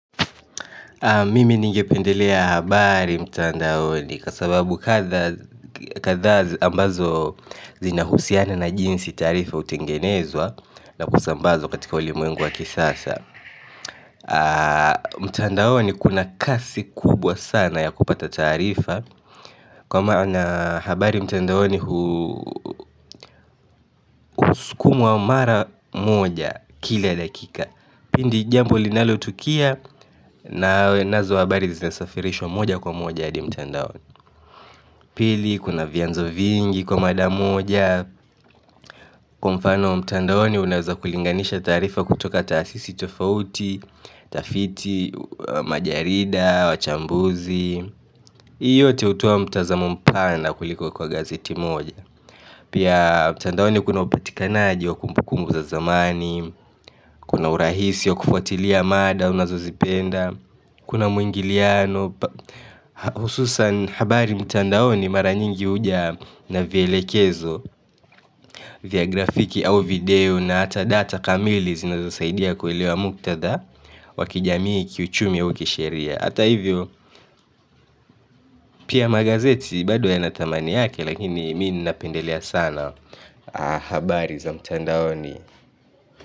Mimi ningependelea habari mtandaoni kwa sababu katha ambazo zina husiana na jinsi taarifa hutengenezwa na kusambazwa katika ulimwengu wa kisasa mtandaoni kuna kasi kubwa sana ya kupata taarifa kwa maana habari mtandaoni skumwa mara moja kila dakika, pindi jambo linalotukia nawe nazo habari zinasafirishwa moja kwa moja hadi mtandaoni. Pili kuna vianzo vingi kwa mada moja kwa mfano, mtandaoni unaweza kulinganisha taarifa kutoka tahasisi tofauti, tafiti, majarida, wachambuzi hii yote hutoa mtazamo mpana kuliko kwa gazeti moja pia mtandaoni kuna upatikanaji wa kumbu kumbu za zamani kuna urahisi wa kufuatilia mada unazozipenda kuna muingiliano hususan habari mtandaoni mara nyingi uja na vielekezo vya grafiki au video na hata data kamili zinazosaidia kuelewa muktadha wa kijamii, kiuchumi au kiusheria, hata hivyo pia magazeti bado yana thamani yake, lakini mimi napendelea sana habari za mtandaoni.